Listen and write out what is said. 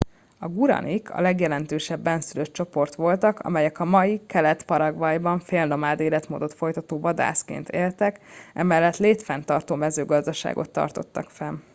a guaranik a legjelentősebb bennszülött csoport voltak amelyek a mai kelet paraguayban fél nomád életmódot folytató vadászként éltek emellett létfenntartó mezőgazdaságot tartottak fenn